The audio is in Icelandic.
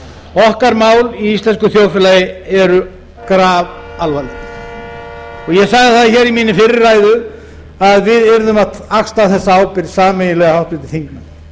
okkar mál í íslensku þjóðfélagi eru grafalvarleg ég sagði það í minni fyrri ræðu að við yrðum að axla þessa ábyrgð sameiginlega háttvirtir þingmenn